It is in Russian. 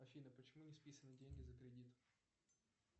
афина почему не списаны деньги за кредит